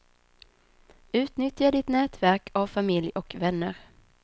Utnyttja ditt nätverk av familj och vänner.